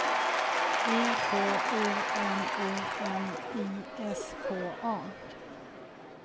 E K O N O M I S K A